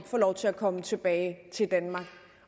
få lov til at komme tilbage til danmark